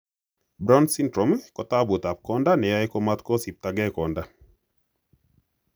Brown syndrome kotaputap konda neyoe komatagosiptage konda.